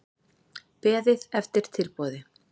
Beðið eftir tilboði